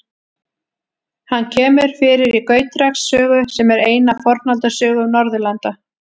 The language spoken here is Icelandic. Hann kemur fyrir í Gautreks sögu, sem er ein af Fornaldarsögum Norðurlanda.